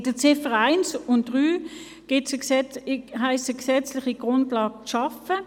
Bei den Ziffern 1 und 3 heisst es, eine gesetzliche Grundlage zu schaffen.